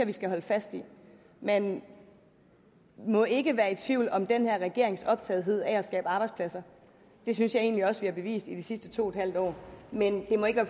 vi skal holde fast i man må ikke være i tvivl om den her regerings optagethed af at skabe arbejdspladser det synes jeg egentlig også at vi har bevist i de sidste to en halv år men det må ikke